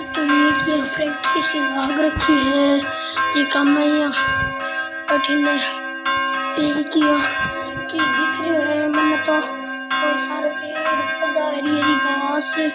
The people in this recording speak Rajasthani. ये तो एक यहाँ फैक्ट्री सी लग राखी है जीका में ये अठिन खिड़कियां की दिखरी है मैंने तो और सारे पेड़ पौधा हरी हरी घांस --